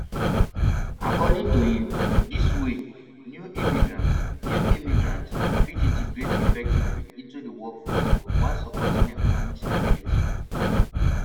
according to im dis way new immigrants new immigrants fit integrate effectively into di workforce while supporting economic stability